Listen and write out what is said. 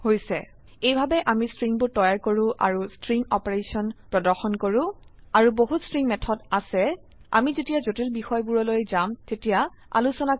এইভাবে আমি স্ট্ৰিংবোৰ তৈয়াৰ কৰো আৰু স্ট্ৰিং অপাৰেশন প্্ৰ্দশন কৰো আৰু বহুত স্ট্ৰিং মেথড আছে আমি যেতিয়া জটিল বিষয়েবোৰলৈ যাম তেতিয়া আলোচনা কৰিম